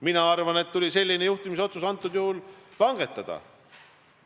Mina arvan, et konkreetsel juhul tuli selline juhtimisotsus langetada.